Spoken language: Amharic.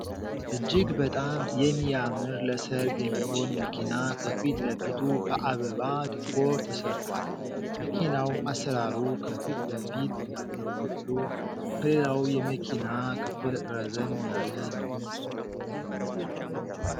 እጅግ በጣም የሚያምር ለሰርግ የሚሆን መኪና ከፊት ለፊቱ በአበባ ዲኮር ተሰርቷል። መኪናው አሰራሩ ከፊት ለፊት ያለው ክፍሉ ከሌላው የመኪና ክፍል ረዘም ያለ ነው።